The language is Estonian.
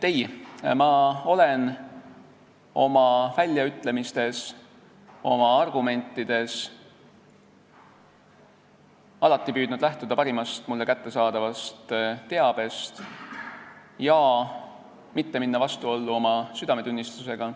Ei, ma olen oma väljaütlemistes, oma argumentides püüdnud alati lähtuda parimast mulle kättesaadavast teabest ja mitte minna vastuollu oma südametunnistusega.